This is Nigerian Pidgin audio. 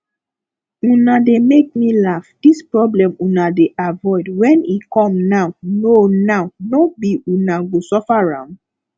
una dey make me laugh dis problem una dey avoid when e come now no now no be una go suffer am